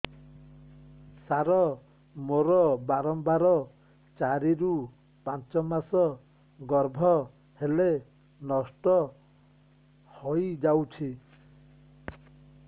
ସାର ମୋର ବାରମ୍ବାର ଚାରି ରୁ ପାଞ୍ଚ ମାସ ଗର୍ଭ ହେଲେ ନଷ୍ଟ ହଇଯାଉଛି